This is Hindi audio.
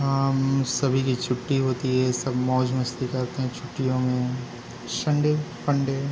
यह सभी की छुट्टी होती है सब मौज-मस्ती करते है छुट्टियों मैं संडे फंडे --